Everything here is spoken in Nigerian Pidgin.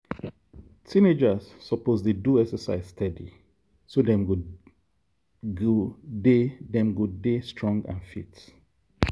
teenagers suppose dey do exercise steady so dem go dey dem go dey strong and fit.